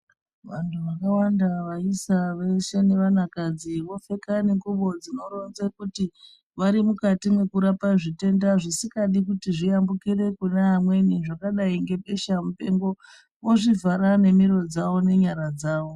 Vanhu vakawanda vaisa veshe nevana nevakadzi vopfeke nengubo dzinoronze kuti varimukati mweku rapa zvitenda zvisingadi kuti zviambukire kune amweni zvakadai ngebesha mupengo ozvivhara ne miro dzawo nenyara dzawo.